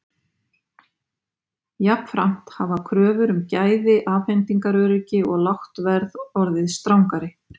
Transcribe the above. Jafnframt hafa kröfur um gæði, afhendingaröryggi og lágt verð orðið strangari.